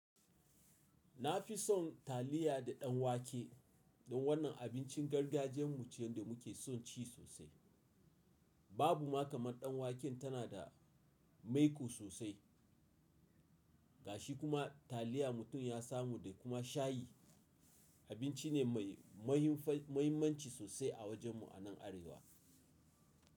Na fi son taliya da ɗan wake don wannan abincin gargajiyarmu ce da muke son ci sosai. Babu ma kamar ɗan waken tana da maiƙo sosai, ga shi kuma taliya mutum ya samu da kuma shayi, abinci ne mai mahimmanci sosai a wajenmu a nan Arewa.